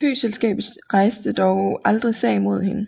Flyselskabet rejste dog aldrig sag mod hende